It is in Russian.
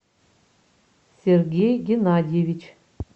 сергей геннадьевич